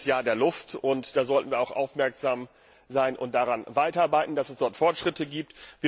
Es ist das Jahr der Luft, und da sollten wir auch aufmerksam sein und daran arbeiten, dass es dort Fortschritte gibt.